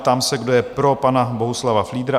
Ptám se, kdo je pro pana Bohuslava Fliedra?